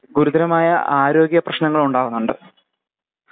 കുരുത്തരമായ ആരോഗ്യ പ്രേശ്നങ്ങളുണ്ടാവുന്നുണ്ട്.